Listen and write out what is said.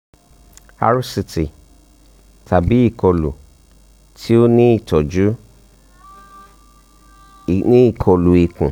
um rct tabi ikolu ti o ni itọju ni ikolu ikun